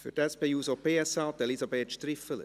Für die SP-JUSO-PSA-Fraktion Elisabeth Striffeler.